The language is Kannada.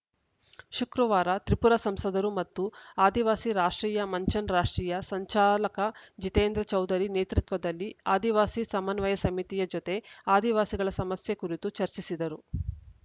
ಶುಕ್ರವಾರ ತ್ರಿಪುರ ಸಂಸದರು ಮತ್ತು ಆದಿವಾಸಿ ರಾಷ್ಟ್ರೀಯ ಮಂಚನ್ ರಾಷ್ಟ್ರೀಯ ಸಂಚಾಲಕ ಜಿತೇಂದ್ರ ಚೌಧರಿ ನೇತೃತ್ವದಲ್ಲಿ ಆದಿವಾಸಿ ಸಮನ್ವಯ ಸಮಿತಿಯ ಜತೆ ಆದಿವಾಸಿಗಳ ಸಮಸ್ಯೆ ಕುರಿತು ಚರ್ಚಿಸಿದರು